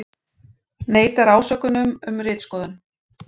Neitar ásökunum um ritskoðun